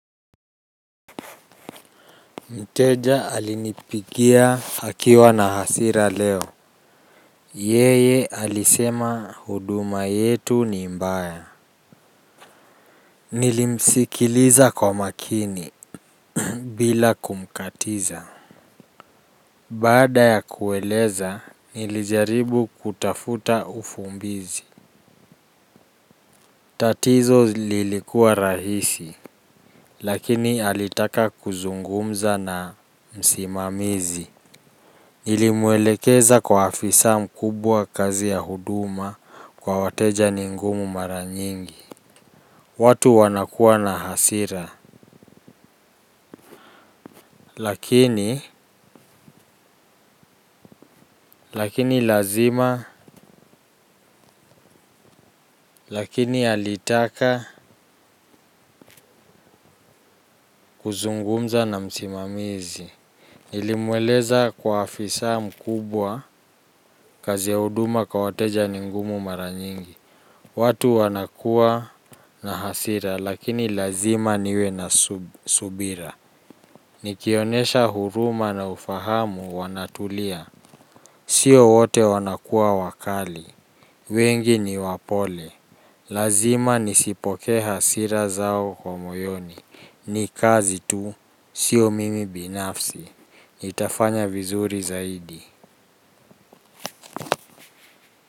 Mteja alinipigia akiwa na hasira leo. Yeye alisema huduma yetu ni mbaya. Nilimsikiliza kwa makini. Bila kumkatiza. Baada ya kueleza nilijaribu kutafuta ufumbizi. Tatizo lilikuwa rahisi. Lakini alitaka kuzungumza na msimamizi. Nilimwelekeza kwa afisa mkubwa kazi ya huduma kwa wateja ni ngumu mara nyingi. Watu wanakuwa na hasira. Lakini lakini lazima lakini alitaka kuzungumza na msimamizi. Nilimweleza kwa afisa mkubwa kazi ya huduma kwa wateja ni ngumu mara nyingi. Watu wanakuwa na hasira lakini lazima niwe na subira. Nikionesha huruma na ufahamu wanatulia. Sio wote wanakuwa wakali. Wengi ni wapole. Lazima nisipokee hasira zao kwa moyoni. Nikazi tu, sio mimi binafsi, nitafanya vizuri zaidi.